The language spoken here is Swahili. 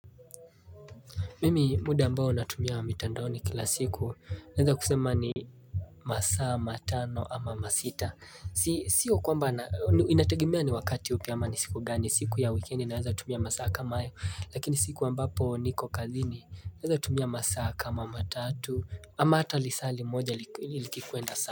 Mimi muda ambao natumia mitandaoni kila siku naeza kusema ni masaa matano ama masita Sio kwamba inategemea ni wakati upi ama ni siku gani siku ya weekendi naeza tumia masaa kama hayo Lakini siku ambapo niko kazini naeza tumia masaa kama matatu ama hata lisaa limoja likikwenda sana.